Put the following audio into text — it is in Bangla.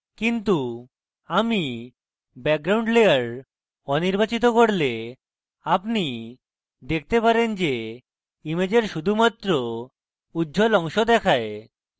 কিন্তু আমি মূল background layer অনির্বাচিত করলে আপনি দেখতে পারেন যে ইমেজের শুধুমাত্র উজ্জ্বল অংশ দেখায়